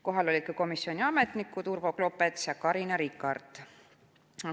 Kohal olid ka komisjoni ametnikud Urvo Klopets ja Carina Rikart.